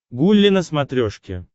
гулли на смотрешке